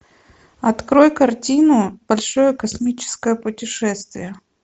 открой картину большое космическое путешествие